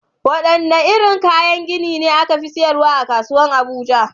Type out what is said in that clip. Wadanne irin kayan gini ne aka fi siyarwa a kasuwar Abuja?